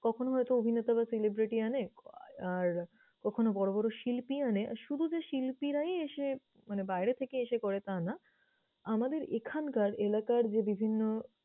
কখনো অভিনেতা বা celebrity আনে, আর কখনো বড়ো বড়ো শিল্পী আনে। আর শুধু যে শিল্পীরাই এসে মানে বাইরে থেকে এসে করে তা না, আমাদের এখানকার এলাকার যে বিভিন্ন